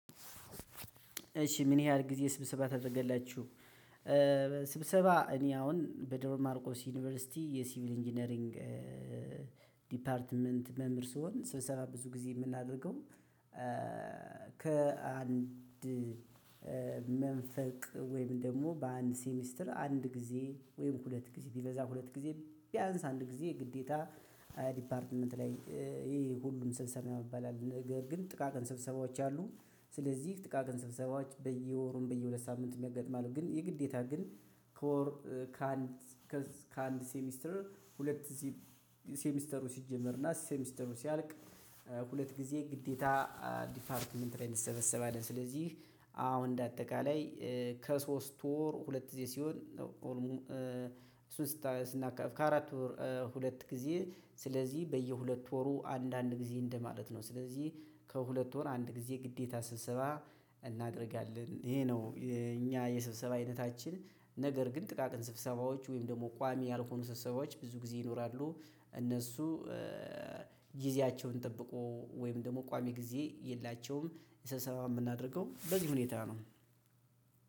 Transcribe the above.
እሺ ምን ያህል ጊዜ ስብሰባ ታደርገላችሁ? ስብሰባ እኔ አሁን በደብረማርቆስ ዩኒቨርሲቲ የሲቪል ኢንጂነሪንግ ዲፓርትመንት መምህር ስሆን ስብሰባ ብዙ ጊዜ የምናደርገው። ከአንድ መንፈቅ ወይም ደግሞ በአንድ ሴሚስትር አንድ ጊዜ ወይም ሁለት ጊዜ ቢበዛ ሁለት ጊዜ ቢያንስ አንድ ጊዜ ግዴታ ዲፓርትመንት ላይ ይሄ ሁሉም ስብሰባ የሚባል አለ ነገር ግን ጥቃቅን ስብሰባዎች አሉ። ስለዚህ ጥቃቅን ስብሰባዎች በየወሩም በየሁለት ሳምንትም ያጋጥማሉ። ግን የግዴታ ግን ከወር ከአንድ ከአንድ ሴሚስተር ሁለት እዚህ ሴሚስተሩ ሲጀመርና ሴሚስተሩ ሲያልቅ ሁለት ጊዜ ግዴታ ዲፓርትመንት ላይ እንሰበሰባለን። ስለዚህ አ አሁን እንደ አጠቃላይ ከሶስት ወር ሁለት እዚህ ሲሆን ኦልሞ እሱን ስተ ስናካፍል ከአራት ወር ሁለት ጊዜ ስለዚህ በየሁለት ወሩ አንድ አንድ ጊዜ እንደማለት ነው። ስለዚህ ከሁለት ወር አንድ ጊዜ ግዴታ ስብሰባ እናደርጋለን። ይሄ ነው የእኛ የስብሰባ አይነታችን ነገር ግን ጥቃቅን ስብሰባዎች ወይም ደግሞ ቋሚ ያልሆኑ ሰብሰባዎች ብዙ ጊዜ ይኖራሉ። እነሱ ጊዜያቸውን ጠብቆ ወይም ደግሞ ቋሚ ጊዜ የላቸውም። ስብሰባ የምናደርገው በዚህ ሁኔታ ነው።